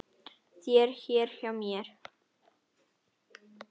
þér hér hjá mér